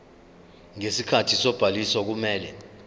ngesikhathi sobhaliso kumele